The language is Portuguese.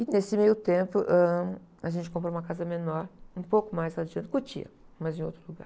E nesse meio tempo, ãh, a gente comprou uma casa menor, um pouco mais adiante, em Cotia, mas em outro lugar.